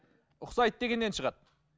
ұқсайды дегеннен шығады